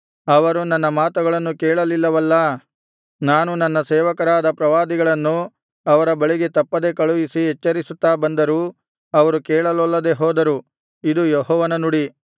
ಅವರು ನನ್ನ ಮಾತುಗಳನ್ನು ಕೇಳಲಿಲ್ಲವಲ್ಲಾ ನಾನು ನನ್ನ ಸೇವಕರಾದ ಪ್ರವಾದಿಗಳನ್ನು ಅವರ ಬಳಿಗೆ ತಪ್ಪದೆ ಕಳುಹಿಸಿ ಎಚ್ಚರಿಸುತ್ತಾ ಬಂದರೂ ಅವರು ಕೇಳಲೊಲ್ಲದೆ ಹೋದರು ಇದು ಯೆಹೋವನ ನುಡಿ